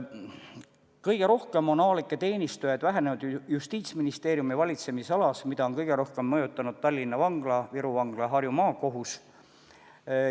Kõige rohkem on avalikke teenistujaid vähemaks jäänud Justiitsministeeriumi valitsemisalas, mida on kõige rohkem mõjutanud Tallinna Vangla, Viru Vangla ja Harju Maakohus.